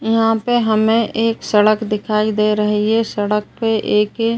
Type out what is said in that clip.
यहाँ पे हमें एक सड़क दिखाई दे रही है। सड़क पे एके